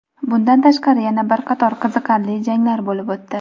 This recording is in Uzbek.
Bundan tashqari yana bir qator qiziqarli janglar bo‘lib o‘tdi.